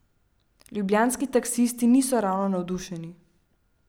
Ljubljanski taksisti niso ravno navdušeni.